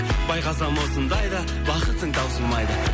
байқасам осындай да бақытың таусылмайды